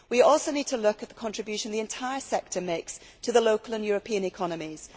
We also need to look at the contribution the entire sector makes to the local and European economies.